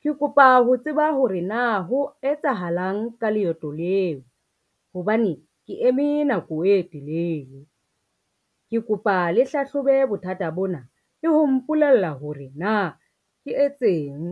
Ke kopa ho tseba hore na ho etsahalang ka leeto leo hobane ke eme nako e telele. Ke kopa le hlahlobe bothata bona le ho mpolella hore na ke etseng.